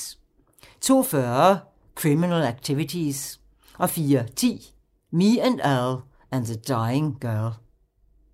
02:40: Criminal Activities 04:10: Me and Earl and the Dying Girl